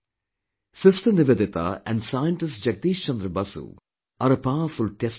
Sister Nivedita and Scientist Jagdish Chandra Basu are a powerful testimony to this